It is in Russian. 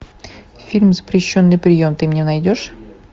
фильм запрещенный прием ты мне найдешь